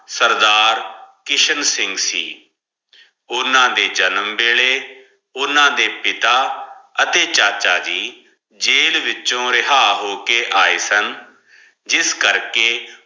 ਸਰਦਾਰ ਖਿਸ਼ਨ ਸਿਗਨ ਸੇ ਓਨਾ ਦੇ ਜਨਮ ਵਾਯ੍ਲਾਯ ਓਨਾ ਦੇ ਪਿਤਾ ਹਾਥੀ ਚਾਚਾ ਜੀ ਜੈਲ ਵਿਚੋ ਰਾਯ੍ਹਾ ਹੋ ਕੇ ਏ ਸਨ ਜਿਸ ਕਰ ਕੇ